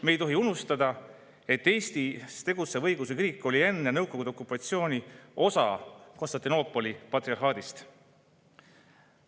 Me ei tohi unustada, et Eestis tegutsev õigeusu kirik oli enne Nõukogude okupatsiooni osa Konstantinoopoli patriarhaadist.